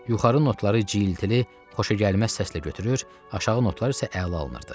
Yuxarı notları cırılı, xoşagəlməz səslə götürür, aşağı notlar isə əla alınırdı.